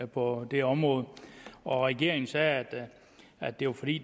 på det område og regeringen sagde at det var fordi